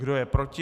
Kdo je proti?